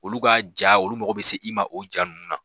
Olu ka ja olu mago bɛ se i ma o ja ninnu na